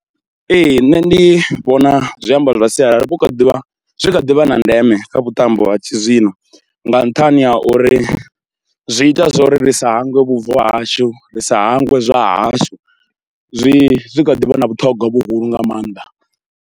Ee nṋe ndi vhona zwiambaro zwa sialala hu kha ḓivha, zwi kha ḓivha na ndeme kha vhuṱambo ha tshizwino nga nṱhani ha uri zwi ita zwo ri sa hangwe vhubvo hashu, ri sa hangwe zwa hashu zwi zwi kha ḓi vha na vhuṱhogwa vhuhulu nga maanḓa.